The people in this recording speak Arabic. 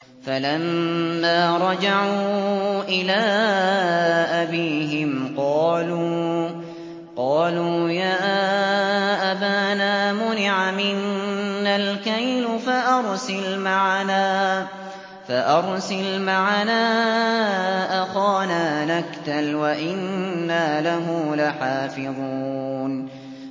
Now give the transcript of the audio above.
فَلَمَّا رَجَعُوا إِلَىٰ أَبِيهِمْ قَالُوا يَا أَبَانَا مُنِعَ مِنَّا الْكَيْلُ فَأَرْسِلْ مَعَنَا أَخَانَا نَكْتَلْ وَإِنَّا لَهُ لَحَافِظُونَ